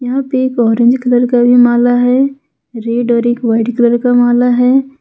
यहां पे एक ऑरेंज कलर का भी माला है रेड और एक वाइट कलर का माला है।